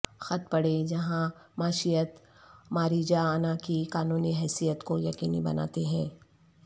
خط پڑھیں جہاں معیشت ماریجاانا کی قانونی حیثیت کو یقینی بناتے ہیں